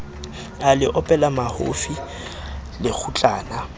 a le opela mahofi lekgutlana